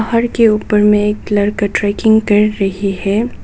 पहाड़ के ऊपर में एक लड़का ट्रैकिंग कर रही है।